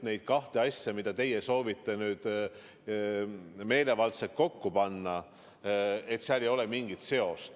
Neid kahte asja, mida teie soovite meelevaldselt kokku panna, ei seo mitte miski.